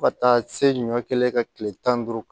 Fo ka taa se ɲɔ kelen ka tile tan ni duuru